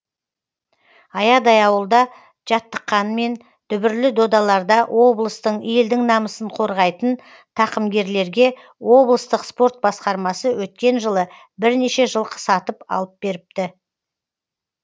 аядай ауылда жаттыққанмен дүбірлі додаларда облыстың елдің намысын қорғайтын тақымгерлерге облыстық спорт басқармасы өткен жылы бірнеше жылқы сатып алып беріпті